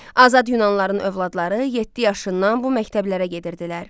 Azad Yunanlıların övladları yeddi yaşından bu məktəblərə gedirdilər.